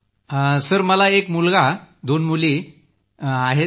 आणि सर मला एक मुलगा आणि दोन मुली आहेत